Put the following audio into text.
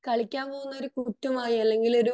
കളിയ്ക്കാൻ പോകുന്നത് ഒരു കുറ്റമായി അല്ലെങ്കിൽ